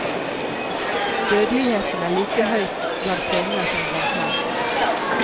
Dødeligheten er like høy blant kvinner som blant menn.